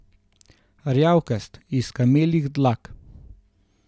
Rjavkast, iz kameljih dlak.